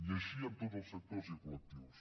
i així amb tots els sectors i col·lectius